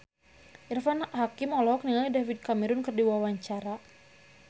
Irfan Hakim olohok ningali David Cameron keur diwawancara